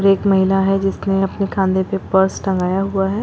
एक महिला है जिसने अपने कांधे पे पर्स टंगाया हुआ है।